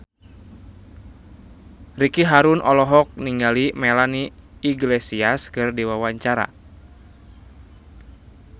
Ricky Harun olohok ningali Melanie Iglesias keur diwawancara